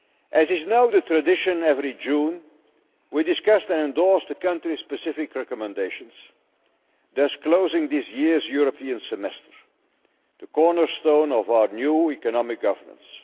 As is now the tradition every June, we discussed and endorsed the country specific recommendations, thus closing this year's European Semester, which is the cornerstone of our new economic governance.